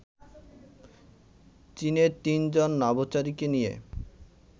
চীনের তিনজন নভোচারীকে নিয়ে